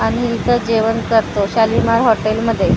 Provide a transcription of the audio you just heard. आम्ही इथं जेवण करतो शालिमार हॉटेलमध्ये .